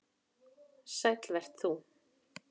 Sæll vert þú.